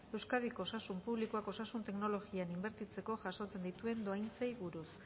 euskadiko osasun publikoak osasun teknologian inbertitzeko jasotzen dituen dohaintzei buruz